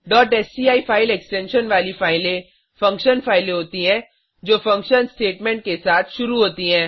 sci file extension वाली फाइलें function फाइलें होती हैं जो फंक्शन स्टेटमेंट के साथ शुरू होती हैं